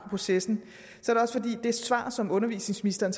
processen og det svar som undervisningsministeren